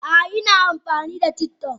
A'a, ina amfani da TikTok